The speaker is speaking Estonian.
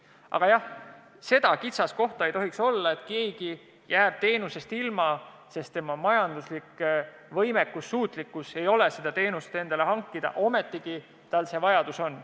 Aga jah, seda kitsaskohta ei tohiks olla, et keegi jääb teenusest ilma, sest tema majanduslik võimekus ei ole luba seda kasutada, kuid tal see vajadus on.